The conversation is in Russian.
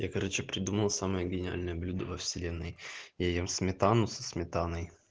я короче придумал самое гениальное блюдо во вселенной я ем сметану со сметаной